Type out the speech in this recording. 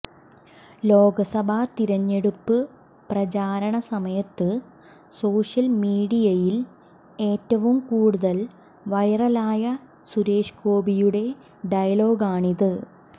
ലോകസഭ തിരഞ്ഞടുപ്പ് പ്രചാരണ സമയത്ത് സോഷ്യൽ മീഡിയയിൽഏറ്റവും കൂടുതൽ വൈറലായ സുരേഷ് ഗോപിയുടെ ഡയലോഗാണിത്